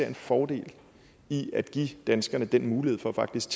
en fordel i at give danskerne den mulighed for faktisk